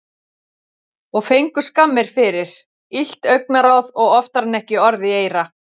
Og fengu skammir fyrir, illt augnaráð og oftar en ekki orð í eyra.